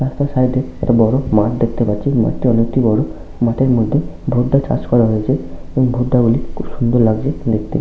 রাস্তার সাইড এ একটা বড় মাঠ দেখতে পাচ্ছি মাঠটি অনেকটি বড় মাঠের মধ্যে ভুট্টা চাষ করা হয়েছে এবং ভুট্টা গুলি খুব সুন্দর লাগছে । দেখতে।